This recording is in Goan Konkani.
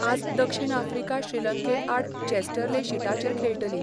आज दक्षीण आफ्रिका श्रीलंके आड चॅस्टरले शीटाचेर खेळटली.